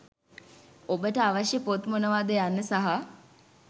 ඔබට අවශ්‍ය පොත් මොනවාද යන්න සහ